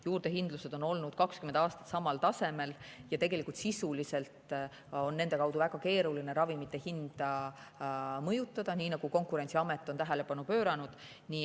Juurdehindlused on olnud 20 aastat samal tasemel ja sisuliselt on nende kaudu väga keeruline ravimite hinda mõjutada, nii nagu Konkurentsiamet on tähelepanu pööranud.